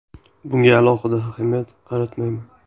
Bunga alohida ahamiyat qaratmayman.